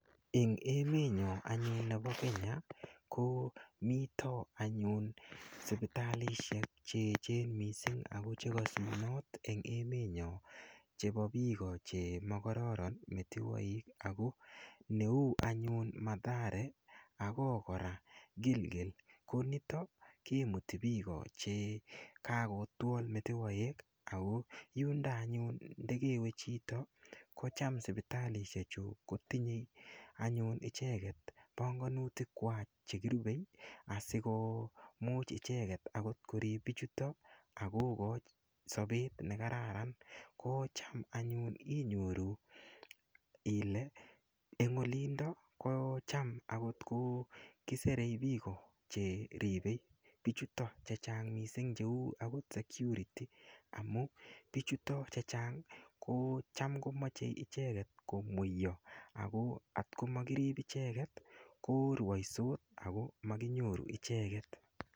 Eng emetnyo anyun nepo Kenya ko mito anyun sipitalishek cheechen mising ako chekasunot eng emet nyo chepo piko chemokororon metewoik ako neu anyun mathare ako kora gilgil ko nito kemuti piko che kakotwol metewoek ako yundo anyun ndekewe chito ko cham sipitalishek chu kotinyei anyun icheket pongonutik kwach che kirupei asikomuch icheket akot korip pichuto akokoch sopet nekararan kocham anyun inyoru ile eng olindo ko cham akot ko kiserei piko che ripei pichuto chechang mising cheu akot security amu pichuto chechang ko cham komochei icheket komweiyo ako atkomakirip icheket korwoisot ako makinyoru icheket.